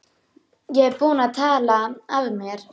Ég er búinn að tala af mér.